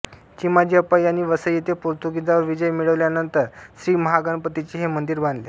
चिमाजीअप्पा यांनी वसई येथे पोर्तुगिजांवर विजय मिळविल्यानंतर श्रीमहागणपतीचे हे मंदिर बांधले